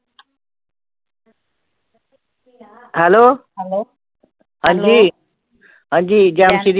hello ਹਾਂਜੀ ਹਾਂਜੀ